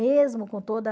Mesmo com toda